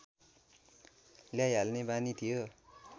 ल्याइहाल्ने बानी थियो